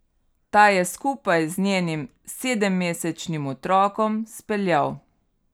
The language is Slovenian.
Ta je skupaj z njenim sedemmesečnim otrokom speljal.